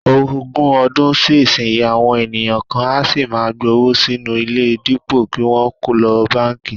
Ogún ọdún sí ìsinyìí, àwọn ènìyàn kan á sì máa gbówó sínú ilé dípò kí wọ́n lo báǹkì